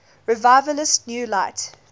revivalist new light